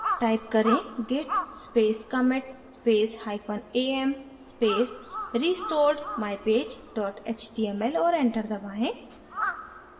type करें: git space commit space hyphen am space restored mypage html और enter दबाएँ